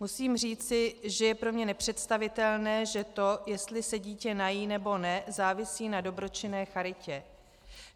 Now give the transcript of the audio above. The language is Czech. Musím říci, že je pro mě nepředstavitelné, že to, jestli se dítě nají, nebo ne, závisí na dobročinné charitě.